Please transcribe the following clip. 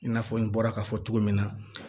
I n'a fɔ n bɔra k'a fɔ cogo min na